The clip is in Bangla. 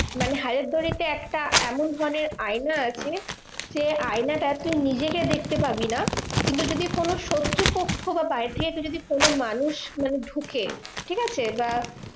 মানে হাজারদুয়ারিতে একটা এমন মানে আয়না আছে সে আয়নাটা তুই নিজেকে দেখতে পাবি না। কিন্তু যদি কোনো শত্রুপক্ষ বা বাইরে থেকে যদি কোনো মানুষ মানে ঢুকে, ঠিকাছে? বা